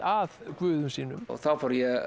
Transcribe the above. að guðum sínum þá